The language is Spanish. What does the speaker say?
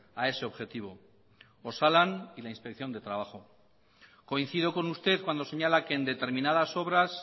a ese objetivo osalan y la inspección de trabajo coincido con usted cuando señala que en determinadas obras